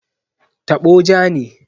Tabo ja ne.